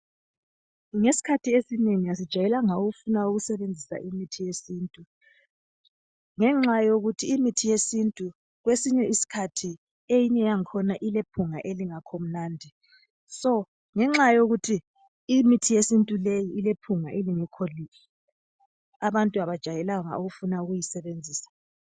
Ngesikhathi esinengi asijayelanga ukufunda ukusebenzisa imithi yesintu ngenxa yokuthi imithi yesintu kwesinye isikhathi eyinye yakhona ilephunga elingekho mnandi (so) ngenxa yokuthi imithi yesintu leyi ilephunga elingekho lihle, abantu abajayelanga ukufuna ukuyisebenzisa.